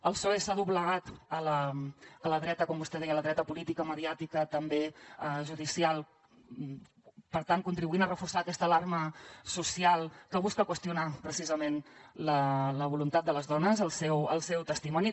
el psoe s’ha doblegat a la dreta com vostè deia la dreta política mediàtica també judicial per tant contribuint a reforçar aquesta alarma social que busca qüestionar precisament la voluntat de les dones el seu testimoni